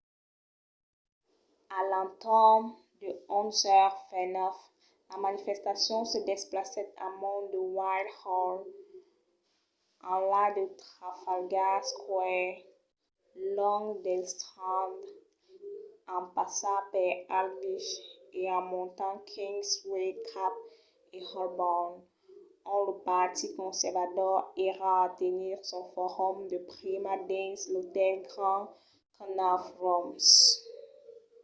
a l’entorn de 11:29 la manifestacion se desplacèt amont de whitehall enlà de trafalgar square long del strand en passar per aldwych e en montant kingsway cap a holborn ont lo partit conservador èra a tenir son forum de prima dins l'otèl grand connaught rooms